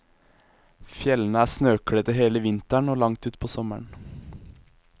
Fjellene er snøkledte hele vinteren og langt ut på sommeren.